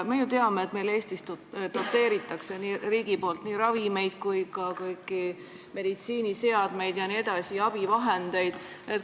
Me ju teame, et Eestis doteerib riik nii ravimeid kui ka abivahendeid ja kõiki meditsiiniseadmeid.